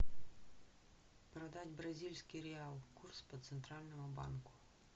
продать бразильский реал курс по центральному банку